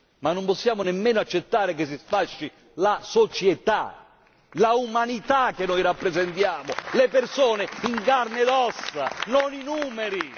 Ma non possiamo nemmeno accettare che si sfasci la società, la umanità che noi rappresentiamo, le persone in carne ed ossa, non i numeri.